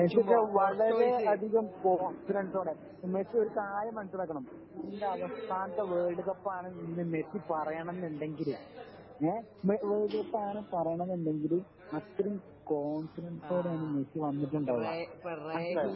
Messi ഒക്കെ വളരെ അധികം കോൺഫിഡൻസോടെ മെസ്സി ഒരു കാര്യം മനസ്സിലാക്കണം മെസ്സിന്റെ അവസാനത്തെ വേൾഡ് കപ്പാണ് ന്നു മെസ്സി പറയണം എന്നുണ്ടെങ്കില് ങ്ഹേ വേൾഡ് കപ്പാണ് എന്ന് പറയണം എന്നുണ്ടെങ്കില് അത്രേം കോൺഫിഡൻസോടെയാ മെസ്സി വന്നിട്ടുണ്ടാകാ മനസ്സിലായോ